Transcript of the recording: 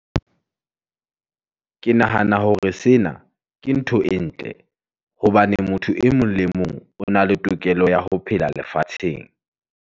Ke nahana hore sena, ke ntho e ntle, hobane motho e mong le mong, o na le tokelo ya ho phela lefatsheng.